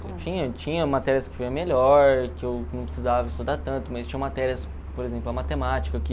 Eu tinha tinha matérias que eu ia melhor, que eu não precisava estudar tanto, mas tinha matérias, por exemplo, a matemática, que...